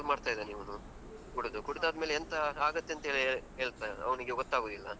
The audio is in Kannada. ಹ್ಮ್ ಎಲ್ಲ function ಎಲ್ಲಾ ಹಾಳ್ ಮಾಡ್ತಾ ಇದ್ದಾನೆ ಇವನು. ಕುಡ್ದು ಕುಡ್ದಾದ್ಮೇಲೆ ಎಂತ ಆಗುತ್ತೆ ಅಂತ ಹೇಳ್ ಅವನಿಗೆ ಗೊತ್ತಾಗುದಿಲ್ಲ.